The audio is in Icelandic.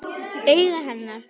Augu hennar.